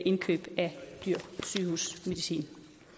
indkøb af dyr sygehusmedicin